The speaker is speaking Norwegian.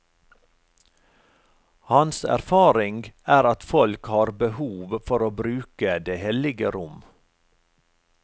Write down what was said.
Hans erfaring er at folk har behov for å bruke det hellige rom.